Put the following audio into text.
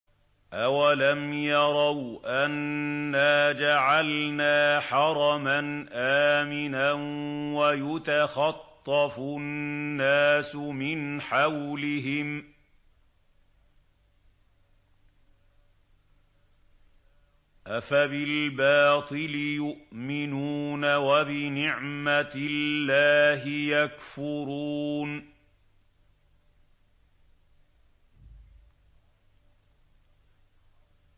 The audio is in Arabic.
أَوَلَمْ يَرَوْا أَنَّا جَعَلْنَا حَرَمًا آمِنًا وَيُتَخَطَّفُ النَّاسُ مِنْ حَوْلِهِمْ ۚ أَفَبِالْبَاطِلِ يُؤْمِنُونَ وَبِنِعْمَةِ اللَّهِ يَكْفُرُونَ